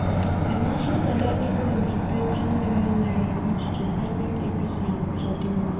dem also order apm to pay two million naira each to inec apc and uzodinma